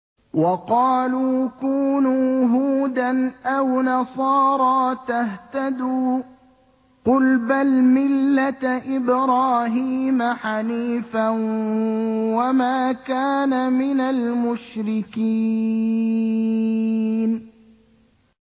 وَقَالُوا كُونُوا هُودًا أَوْ نَصَارَىٰ تَهْتَدُوا ۗ قُلْ بَلْ مِلَّةَ إِبْرَاهِيمَ حَنِيفًا ۖ وَمَا كَانَ مِنَ الْمُشْرِكِينَ